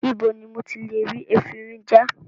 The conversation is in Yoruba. Ibo ni mo ti lè rí efinrin já?